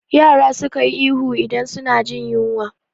Yara suka yi ihu idan suna jin yinwa